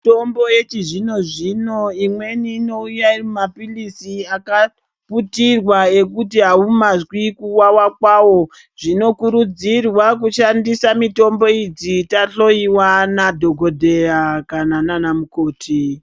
Mitombo yechizvino zvino imweni inouya Ari mapirizi Kuitirwa nemapirizi kwawo zvinokurudzirwa kushandisa mitombo idzi nana dhokodheya nana mukoti.